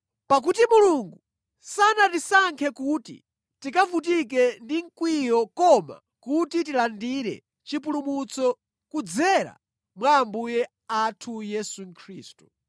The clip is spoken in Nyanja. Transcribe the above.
Pakuti Mulungu sanatisankhe kuti tikavutike ndi mkwiyo koma kuti tilandire chipulumutso kudzera mwa Ambuye athu Yesu Khristu.